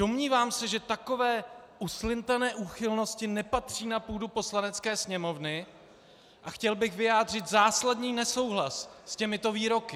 Domnívám se, že takové uslintané úchylnosti nepatří na půdu Poslanecké sněmovny, a chtěl bych vyjádřit zásadní nesouhlas s těmito výroky.